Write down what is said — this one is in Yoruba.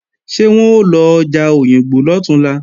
Ṣé wọ́n ó lọ ọjà Òyìngbò lọ̀túnla?